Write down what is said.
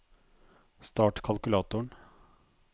start kalkulatoren